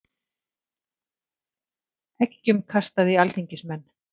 Eggjum kastað í alþingismenn